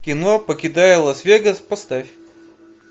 кино покидая лас вегас поставь